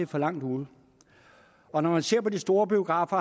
for langt ude og når man ser på de store biografer